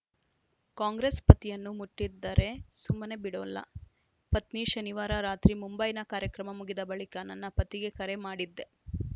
ಕಾಂಗ್ರೆಸ್‌ ಪತಿಯನ್ನು ಮುಟ್ಟಿದ್ದರೆ ಸುಮ್ಮನೆ ಬಿಡೋಲ್ಲ ಪತ್ನಿ ಶನಿವಾರ ರಾತ್ರಿ ಮುಂಬೈನ ಕಾರ್ಯಕ್ರಮ ಮುಗಿದ ಬಳಿಕ ನನ್ನ ಪತಿಗೆ ಕರೆ ಮಾಡಿದ್ದೆ